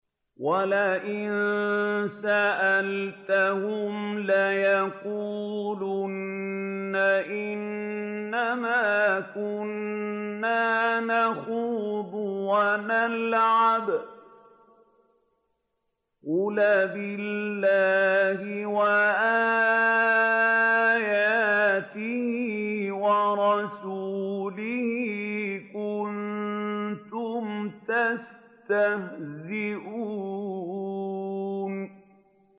وَلَئِن سَأَلْتَهُمْ لَيَقُولُنَّ إِنَّمَا كُنَّا نَخُوضُ وَنَلْعَبُ ۚ قُلْ أَبِاللَّهِ وَآيَاتِهِ وَرَسُولِهِ كُنتُمْ تَسْتَهْزِئُونَ